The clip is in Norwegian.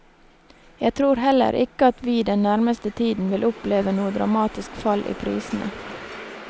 Jeg tror heller ikke at vi den nærmeste tiden vil oppleve noe dramatisk fall i prisene.